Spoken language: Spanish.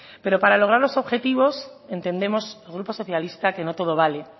pero para lograr los objetivos entendemos el grupo socialista que no todo vale